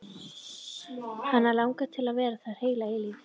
Hana langar til að vera þar heila eilífð.